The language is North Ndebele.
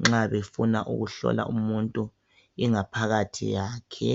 nxa befuna ukuhlola ingaphakathi yakhe